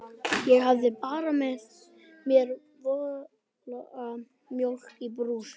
Ég hafði bara með mér volga mjólk í brúsa.